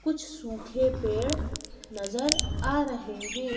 कुछ सूखे पेड़ नजर आ रहे हैं।